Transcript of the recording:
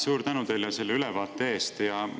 Suur tänu teile selle ülevaate eest!